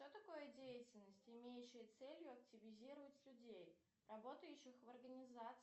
что такое деятельность имеющая целью активизировать людей работающих в организации